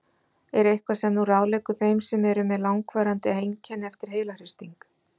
Er eitthvað sem þú ráðleggur þeim sem eru með langvarandi einkenni eftir heilahristing?